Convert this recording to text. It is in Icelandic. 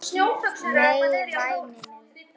Nei, væni minn.